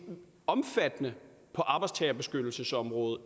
omfattende på arbejdstagerbeskyttelsesområdet